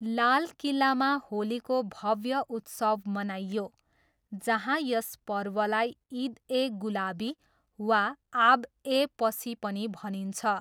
लाल किल्लामा होलीको भव्य उत्सव मनाइयो, जहाँ यस पर्वलाई इद ए गुलाबी वा आब ए पसी पनि भनिन्छ।